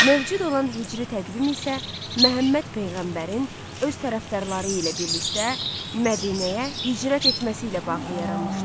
Mövcud olan hicri təqvim isə Məhəmməd peyğəmbərin öz tərəfdarları ilə birlikdə Mədinəyə hicrət etməsi ilə bağlı yaranmışdı.